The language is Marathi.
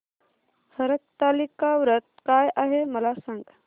हरतालिका व्रत काय आहे मला सांग